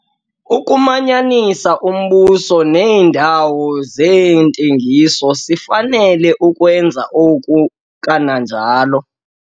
Ukumanyanisa uMbuso neendawo zeentengiso - sifanele ukwenza oku, kananjalo